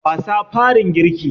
Wasa farin girki.